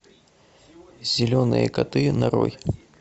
зеленые коты нарой